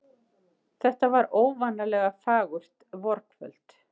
Þetta var óvanalega fagurt vorkvöld.